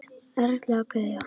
Erla og Guðjón.